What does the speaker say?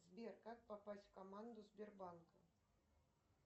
сбер как попасть в команду сбербанка